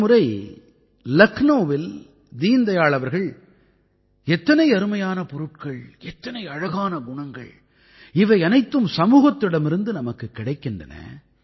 ஒருமுறை லக்னௌவிலே தீன் தயாள் அவர்கள் எத்தனை அருமையான பொருட்கள் எத்தனை அழகான குணங்கள் இவை அனைத்தும் சமூகத்திடமிருந்து நமக்குக் கிடைக்கின்றன